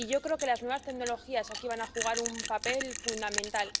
Y yo creo que las nuevas tecnologías aquí van a jugar un papel fundamental